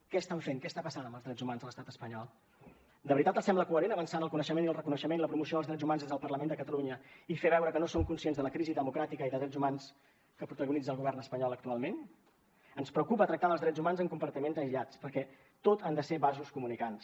què estan fent què està passant amb els drets humans a l’estat espanyol de veritat els sembla coherent avançar en el coneixement i el reconeixement i la promoció dels drets humans des del parlament de catalunya i fer veure que no som conscients de la crisi democràtica i de drets humans que protagonitza el govern espanyol actualment ens preocupa tractar els drets humans en compartiments aïllats perquè tot han de ser vasos comunicants